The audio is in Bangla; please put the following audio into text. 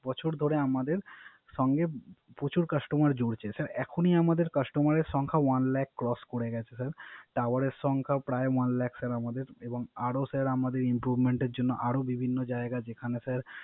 বছর ধরে আমাদের সঙ্গে প্রচুর কাস্টমার জুরছে। Sir এখনই আমাদের Customer এর সংখ্যা One lac cross করে গেছে টাওয়ারের সংখ্যাও প্রায় One lac sir এবং আরো Sir improvent এর জন্য আরো বিভিন্ন যায়গা